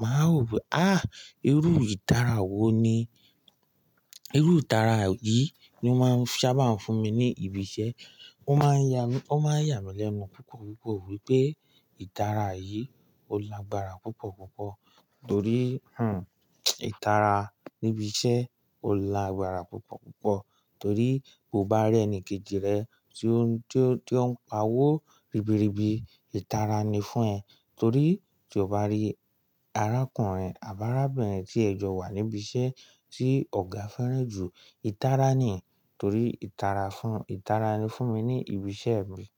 Màá ń rò pé, ah! Irú ìtara wo ni? Irú ìtara yìí ni ó máa ń sábà fún mi ní ibi iṣẹ́. Ó máa ń ya mi, ó máa ń yà mí lẹ́nu púpọ̀ púpọ̀ wípé Màá sì tú wo wipé, ah ah! Ọ̀nà wo ni àwọn tún ń gbé gbà ní ẹnu iṣẹ́ wípé ẹ̀yin oníbàárà ọgọ́rùn ti wá sí ọ̀dọ̀ tòun. Torí tí o bá rí arákùnrin àbárábìnrin tí ẹ jọ wà níbi iṣẹ́ tí ọ̀gá fẹ́ràn jù, ìtara ni. Torí ìtara fún, ìtara ni fún mi ní ibi iṣẹ́ mi.